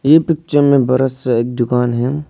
ये पिक्चर में बड़ा सा एक दुकान है।